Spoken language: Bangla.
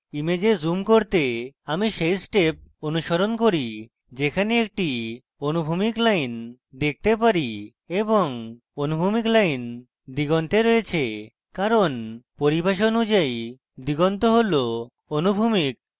image জুম করতে আমি সেই step অনুসরণ করি যেখানে একটি অনুভূমিক line দেখতে পারি এবং অনুভূমিক line দিগন্তে রয়েছে কারণ পরিভাষা অনুযায়ী